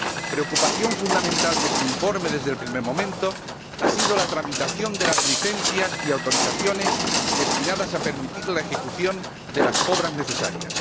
Preocupación fundamental de este informe desde el primer momento ha sido la tramitación de las licencias y autorizaciones destinadas a permitir la ejecución de las obras necesarias.